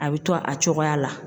A bɛ to a cogoya la